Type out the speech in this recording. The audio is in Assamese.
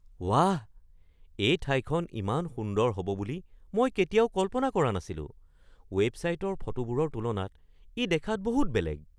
ৱাহ! এই ঠাইখন ইমান সুন্দৰ হ'ব বুলি মই কেতিয়াও কল্পনা কৰা নাছিলো। ৱেবছাইটৰ ফটোবোৰৰ তুলনাত ই দেখাত বহুত বেলেগ।